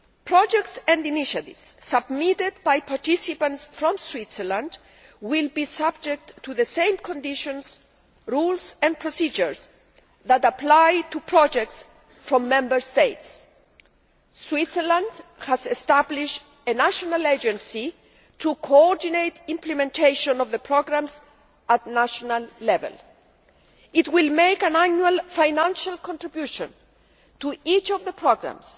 Projects and initiatives submitted by participants from Switzerland will be subject to the same conditions, rules and procedures that apply to projects from Member States. Switzerland has established a national agency to coordinate implementation of the programmes at national level. It will make an annual financial contribution to each of the programmes